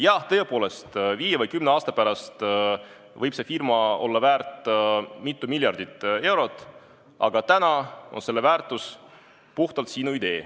Jah, tõepoolest, viie või kümne aasta pärast võib see firma olla väärt mitu miljardit eurot, aga täna on selle väärtus puhtalt sinu idee.